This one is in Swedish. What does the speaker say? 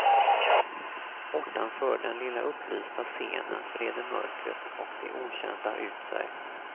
Bortanför den lilla upplysta scenen breder mörkret och det okända ut sig.